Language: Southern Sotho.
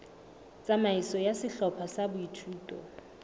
tsamaiso ya sehlopha sa boithuto